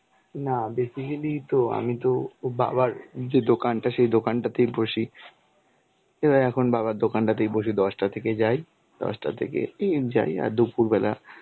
না basically তো, আমি তো ও বাবার যে দোকানটা, সেই দোকানটাতেই বসি. এবার এখন বাবার দোকানটাতেই বসে দশটা থেকে যাই. দশটা থেকে যাই, আর দুপুরবেলা